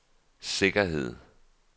sikkerhed